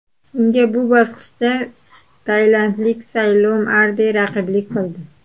Unga bu bosqichda tailandlik Saylom Arde raqiblik qildi.